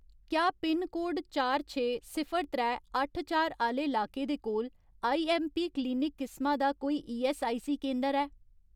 क्या पिनकोड चार छे, सिफर त्रै, अट्ठ चार आह्‌ले लाके दे कोल आईऐम्मपी क्लिनिक किसमा दा कोई ईऐस्सआईसी केंदर ऐ ?